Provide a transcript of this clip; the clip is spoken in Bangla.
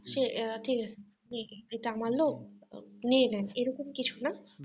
সে ঠিকআছে নিয়েনি এটা আমার লোক নিয়ে নেন এরকম কিছু না